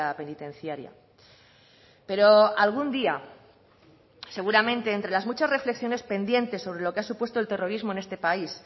penitenciaria pero algún día seguramente entre las muchas reflexiones pendientes sobre lo que ha supuesto el terrorismo en este país